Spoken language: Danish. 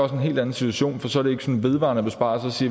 en helt anden situation for så er det ikke en vedvarende besparelse